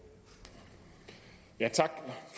jeg